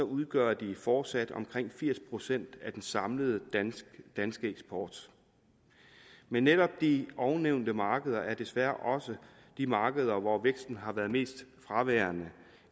udgør det fortsat omkring firs procent af den samlede danske eksport men netop de ovennævnte markeder er desværre også de markeder hvor væksten har været mest fraværende